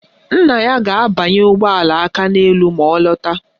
Nna ya ga-abanye ụgbọala Akaneelu ma ọ lọta